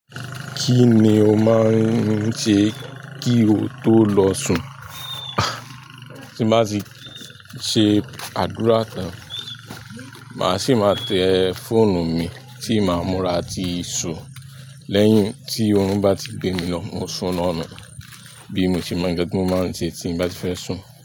Kí ni o máa ń ṣe kí o tó lọ sùn? Ti n ba ti ṣe àdúrà tan, màá sì máa tẹ fóònù mi tí màá múra ti sùn. Lẹ́yìn tí oorùn bá ti gbé mi lọ, mo sun lọ nun. Bí mo ṣe mọ̀, nǹkan ti mo mọ ń ṣe tí n bá ti fẹ́ sùn.